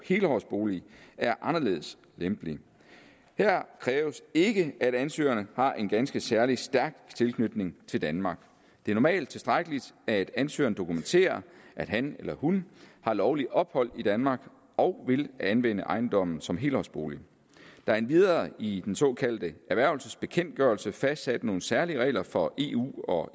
helårsboliger er anderledes lempelig her kræves ikke at ansøgerne har en ganske særlig stærk tilknytning til danmark det er normalt tilstrækkeligt at ansøgeren dokumenterer at han eller hun har lovligt ophold i danmark og vil anvende ejendommen som helårsbolig der er endvidere i den såkaldte erhvervelsesbekendtgørelse fastsat nogle særlige regler for eu og